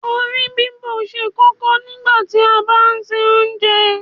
Orí bíbò ṣe kókó nígbàtí a bá ń se Oúnjẹ